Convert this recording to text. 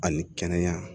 Ani kɛnɛya